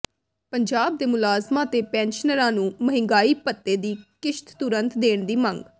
ਪੰਜਾਬ ਦੇ ਮੁਲਾਜ਼ਮਾਂ ਤੇ ਪੈਨਸ਼ਨਰਾਂ ਨੂੰ ਮਹਿੰਗਾਈ ਭੱਤੇ ਦੀ ਕਿਸ਼ਤ ਤੁਰੰਤ ਦੇਣ ਦੀ ਮੰਗ